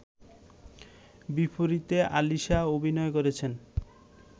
বিপরীতে আলিশা অভিনয় করেছেন